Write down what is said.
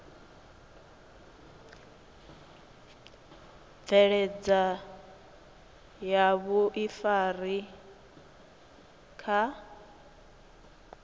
bveledza milayo ya vhuifari kha